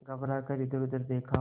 घबरा कर इधरउधर देखा